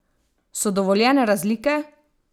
So dovoljene razlike?